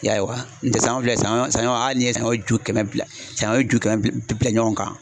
I y'a ye wa nutɛ sanɲɔ filɛ sanɲɔ hali n'i ye sanɲɔ ju kɛmɛ bila sanɲɔ ju kɛmɛ bila bila ɲɔgɔn kan